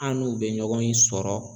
An n'u bɛ ɲɔgɔn in sɔrɔ.